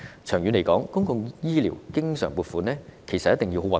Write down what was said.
長遠來說，公共醫療經常撥款一定要保持穩定。